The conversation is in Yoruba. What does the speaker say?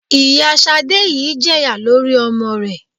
Ìyá Sadé yìí jẹ̀yà lórí ọmọ rẹ